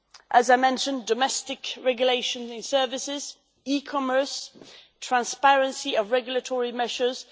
As I mentioned, domestic regulation of these services, e commerce, transparency of regulatory measures